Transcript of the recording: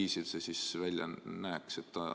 Kuidas see välja näeks?